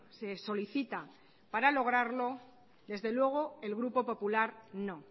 se solicita para lograrlo desde luego el grupo popular no